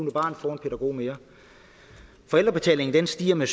barn får en pædagog mere forældrebetalingen stiger med